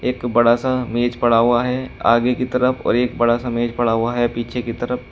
एक बड़ा सा मेज पड़ा हुआ है आगे की तरफ और एक बड़ा सा मेज पड़ा हुआ है पीछे की तरफ।